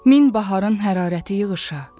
Min baharın hərarəti yığışa.